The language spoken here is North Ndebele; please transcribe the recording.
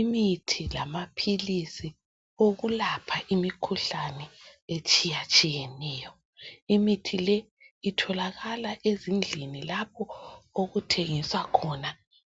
Imithi lamaphilizi okulapha imikhuhlane etshiya tshiyeneyo imithi le itholakala ezindlini lapho okuthengiswa khona